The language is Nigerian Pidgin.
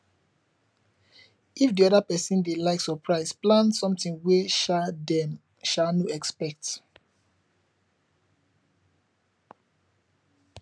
if di oda person dey like surprise plan something wey um dem um no expect